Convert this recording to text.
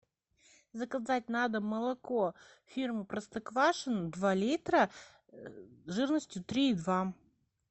заказать на дом молоко фирмы простоквашино два литра жирностью три и два